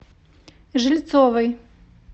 жильцовой